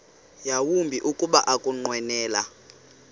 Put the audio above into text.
yawumbi kuba ukunqwenela